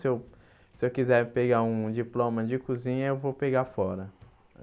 Se eu quiser pegar um diploma de cozinha, eu vou pegar fora.